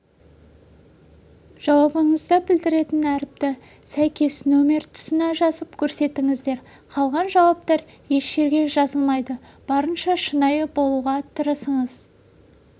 жауабыңызды білдіретін әріпті сәйкес номер тұсына жазып көрсетіңіздер қалған жауаптар ешжерге жазылмайды барынша шынайы болуға тырысыңыз